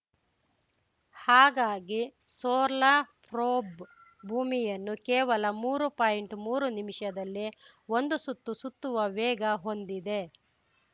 ಹಾಗಾಗಿ solar probe ಭೂಮಿಯನ್ನು ಕೇವಲ ಮೂರು ಪಾಯಿಂಟ್ಮೂರು ನಿಮಿಷದಲ್ಲಿ ಒಂದು ಸುತ್ತು ಸುತ್ತುವ ವೇಗ ಹೊಂದಿದೆ